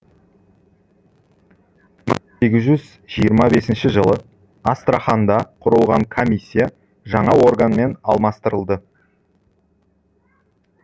сегіз жүз жиырма бесінші жылы астраханда құрылған комиссия жаңа органмен алмастырылды